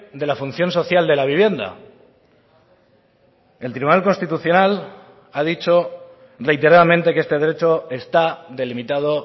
de la función social de la vivienda el tribunal constitucional ha dicho reiteradamente que este derecho está delimitado